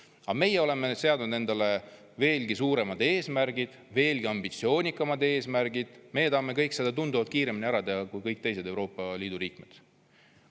Aga meie oleme seadnud endale veelgi suuremad eesmärgid, veelgi ambitsioonikamad eesmärgid, me tahame kõike seda tunduvalt kiiremini ära teha kui kõik teised Euroopa Liidu liikmed.